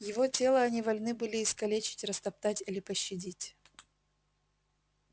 его тело они вольны были искалечить растоптать или пощадить